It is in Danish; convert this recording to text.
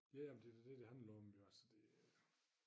Ja men det da dét det handler om jo altså det